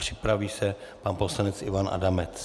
Připraví se pan poslanec Ivan Adamec.